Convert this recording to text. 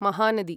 Mahanadi